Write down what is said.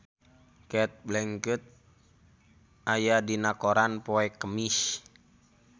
Cate Blanchett aya dina koran poe Kemis